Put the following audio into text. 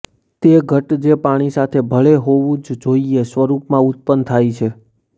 તે ઘટ્ટ જે પાણી સાથે ભળે હોવું જ જોઈએ સ્વરૂપમાં ઉત્પન્ન થાય છે